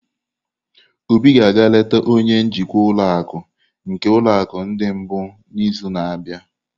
Obi ga-aga eleta onye njikwa ụlọ akụ nke ulo akụ ndi mbu n'izu na-abịa.